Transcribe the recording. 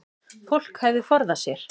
Fólk hefði forðað sér